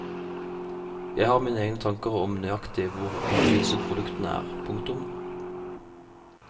Jeg har mine egne tanker om nøyaktig hvor gode disse produktene er. punktum